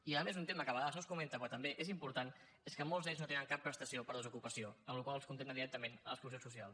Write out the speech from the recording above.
i a més un tema que a vegades no es comenta però que també és important és que molts d’ells no tenen cap prestació per desocupació la qual cosa els condemna directament a l’exclusió social